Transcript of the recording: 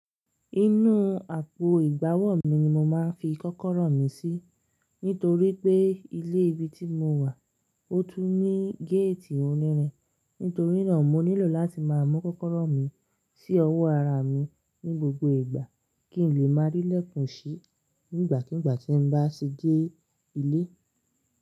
Inú àpò ìgbàwọ̀ mi ni mo máa ń fi kọ́kọ́rọ́ mi sí. Nítorí pé ilé ibi tí mo wà, ó tún ní géètì onírin. Nítorí náà, mo nílò láti máa mú kọ́kọ́rọ́ mi sí ọwọ́ ara mi ní gbogbo ìgbà kí n lè máa rí lẹ́kùnṣí nígbàkigbà tí n bá ṣi dé ilé.